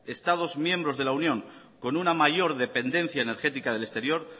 estados miembros de la unión europea con una mayor dependencia energética del exterior